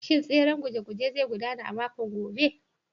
Shin tseren guje-gujen zai gudana a makon gobe?